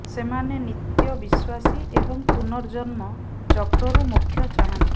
ସେମାନେ ନିତ୍ୟ ବିଶ୍ୱାସୀ ଏବଂ ପୁନର୍ଜନ୍ମ ଚକ୍ରରୁ ମୋକ୍ଷ ଚାହାଁନ୍ତି